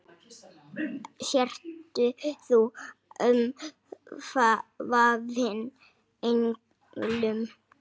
Sért þú umvafin englum.